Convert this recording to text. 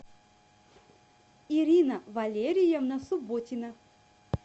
ирина валерьевна субботина